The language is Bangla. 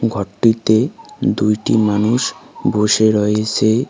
ঘরটিতে দুইটি মানুষ বসে রয়েসে।